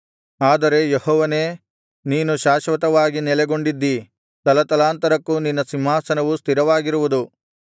ಆದರೆ ಯೆಹೋವನೇ ನೀನು ಶಾಶ್ವತವಾಗಿ ನೆಲೆಗೊಂಡಿದ್ದೀ ತಲತಲಾಂತರಕ್ಕೂ ನಿನ್ನ ಸಿಂಹಾಸನವು ಸ್ಥಿರವಾಗಿರುವುದು